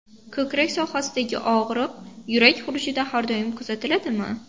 Ko‘krak sohasidagi og‘riq yurak xurujida har doim kuzatiladimi?